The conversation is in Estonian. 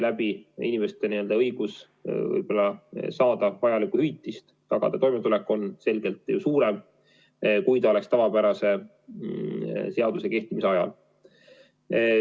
Tänu sellele inimeste õigus saada vajalikku hüvitist ja tagada toimetulek on selgelt suurem, kui oleks tavapärase seaduse kehtimise ajal.